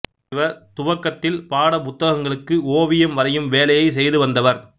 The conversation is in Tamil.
இவர் துவக்கத்தில் பாடப் புத்தகங்களுக்கு ஓவியம் வரையும் வேலையைச் செய்துவந்தவர்